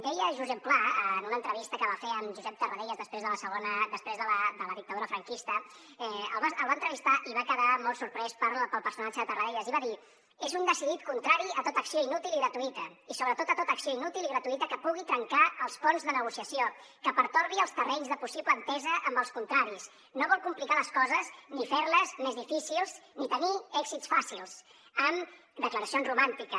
deia josep pla en una entrevista que va fer amb josep tarradellas després de la dictadura franquista el va entrevistar i va quedar molt sorprès pel personatge de tarradellas i va dir és un decidit contrari a tota acció inútil i gratuïta i sobretot a tota acció inútil i gratuïta que pugui trencar els ponts de negociació que pertorbi els terrenys de possible entesa amb els contraris no vol complicar les coses ni fer les més difícils ni tenir èxits fàcils amb declaracions romàntiques